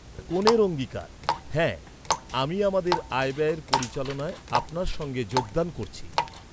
কনের অঙ্গীকার, হ্যাঁ, আমি আমাদের আয় ব্যয়ের পরিচালনায় আপনার সঙ্গে যোগদান করছি।